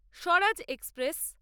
Swaraj express